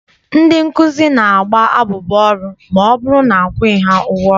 Ndị nkụzi na-agba abụba ọrụ ma ọbụrụ na akwụghị ha ụgwọ ọrụ.